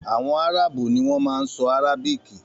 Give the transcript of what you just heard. Àwọn Áràbù ni wọn ma ń sọ Arabiki